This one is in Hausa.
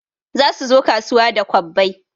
Za suzo kasuwa da kwabbai